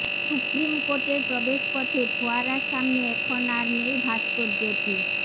supreme কোর্টের প্রবেশ পথে ফোয়ারার সামনে এখন আর নেই ভাস্কর্যটি